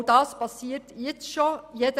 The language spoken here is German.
Auch dies geschieht schon jetzt.